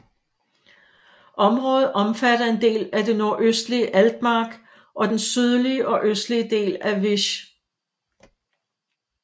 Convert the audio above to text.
Området omfatter en del af det nordøstlige Altmark og den sydlige og østlige del af Wische